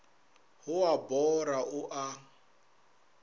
go a mbora o a